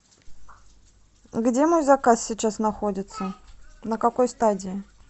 где мой заказ сейчас находится на какой стадии